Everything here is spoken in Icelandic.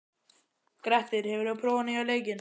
Grettir, hefur þú prófað nýja leikinn?